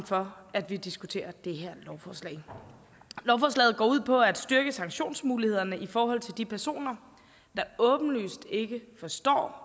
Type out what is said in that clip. for at vi diskuterer det her lovforslaget går ud på at styrke sanktionsmulighederne i forhold til de personer der åbenlyst ikke forstår